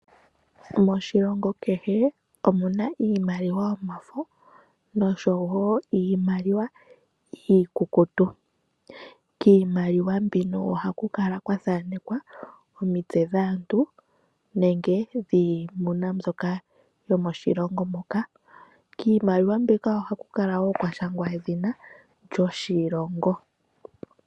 Moshilongo kehe omuna iimaliwa yomafo nosho wo iimaliwa iikukutu. Kiimaliwa mbino ohaku kala kwathanekwa omitse dhaantu nenge dhiimuna mbyoka yomoshilongo moka. Kiimaliwa mbika ohaku kala wo kwashangwa edhina lyoshilongo.